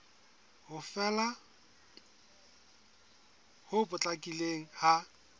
ho fela ho potlakileng ha